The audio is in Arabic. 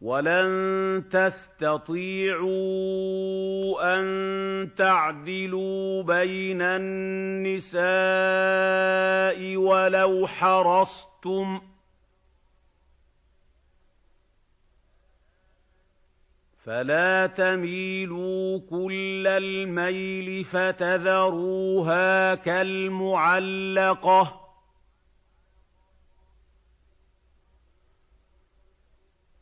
وَلَن تَسْتَطِيعُوا أَن تَعْدِلُوا بَيْنَ النِّسَاءِ وَلَوْ حَرَصْتُمْ ۖ فَلَا تَمِيلُوا كُلَّ الْمَيْلِ فَتَذَرُوهَا كَالْمُعَلَّقَةِ ۚ